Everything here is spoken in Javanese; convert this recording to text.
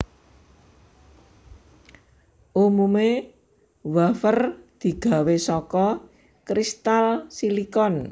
Umumé wafer digawé saka kristal silikon